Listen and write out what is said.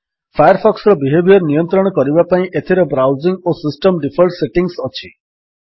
ଫାୟାରଫକ୍ସର behaviour ନିୟନ୍ତ୍ରଣ କରିବା ପାଇଁ ଏଥିରେ ବ୍ରାଉଜିଙ୍ଗ୍ ଓ ସିଷ୍ଟମ୍ ଡିଫଲ୍ଟ ସେଟିଙ୍ଗ୍ସ ଅଛି